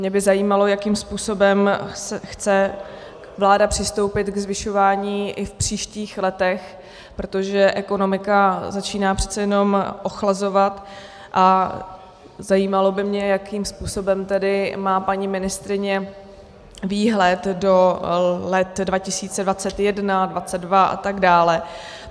Mě by zajímalo, jakým způsobem chce vláda přistoupit ke zvyšování i v příštích letech, protože ekonomika začíná přece jenom ochlazovat, a zajímalo by mě, jakým způsobem tedy má paní ministryně výhled do let 2021, 2022 a tak dále.